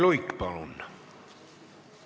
Lauri Luik, palun!